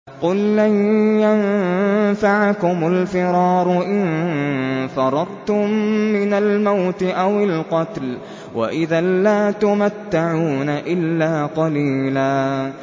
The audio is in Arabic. قُل لَّن يَنفَعَكُمُ الْفِرَارُ إِن فَرَرْتُم مِّنَ الْمَوْتِ أَوِ الْقَتْلِ وَإِذًا لَّا تُمَتَّعُونَ إِلَّا قَلِيلًا